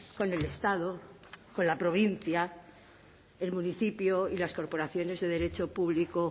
con el estado con la provincia el municipio y las corporaciones de derecho público